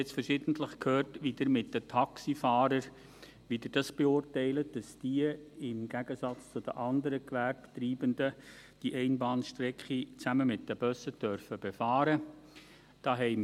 Ich habe nun verschiedentlich gehört, wie Sie die Sache mit den Taxifahrern beurteilen – dass diese im Gegensatz zu den anderen Gewerbetreibenden die Einbahnstrecke zusammen mit den Bussen befahren dürfen.